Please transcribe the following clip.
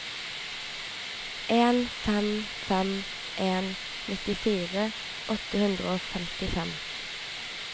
en fem fem en nittifire åtte hundre og femtifem